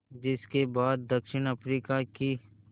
जिस के बाद दक्षिण अफ्रीका की